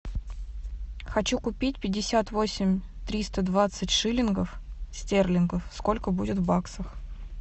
хочу купить пятьдесят восемь триста двадцать шиллингов стерлингов сколько будет в баксах